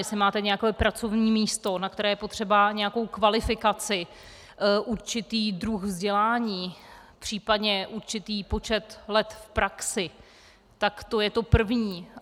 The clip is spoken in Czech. Jestli máte nějaké pracovní místo, na které je potřeba nějakou kvalifikaci, určitý druh vzdělání, případně určitý počet let v praxi, tak to je to první.